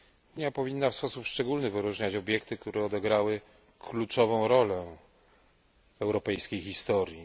Unia powinna w sposób szczególny wyróżniać obiekty, które odegrały kluczową rolę w europejskiej historii.